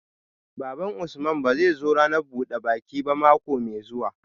Baban Usman ba zai zo ranar buda baki ba mako mai zuwa